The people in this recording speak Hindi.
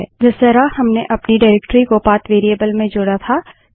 जिस तरह हमने अपनी निर्देशिकाडाइरेक्टरी को पाथ वेरिएबल में जोड़ा था